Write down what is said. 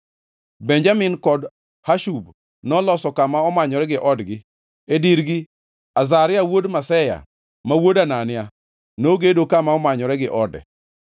Benjamin kod Hashub noloso kama omanyore gi odgi; e dirgi Azaria wuod Maseya, ma wuod Anania, nogedo kama omanyore gi ode.